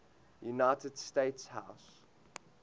united states house